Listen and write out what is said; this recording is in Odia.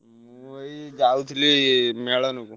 ମୁଁ ଏଇ ଯାଉଥିଲି ମେଳଣ କୁ।